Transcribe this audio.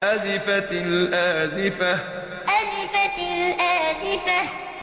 أَزِفَتِ الْآزِفَةُ أَزِفَتِ الْآزِفَةُ